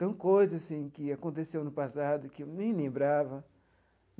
São coisas assim que aconteceu no passado que eu nem lembrava.